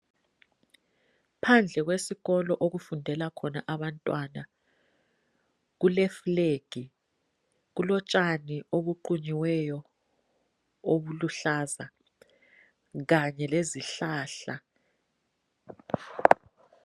phandle kwesikolo okufundela khona abantwana kule flag kulotshani obuqunyiweyo obuluhlaza kanye lezihlahla